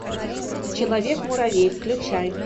человек муравей включай